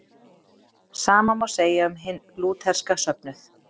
Sama má segja um hinn lútherska söfnuð.